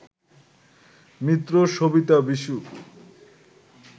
Mitra, Savita, Vishnu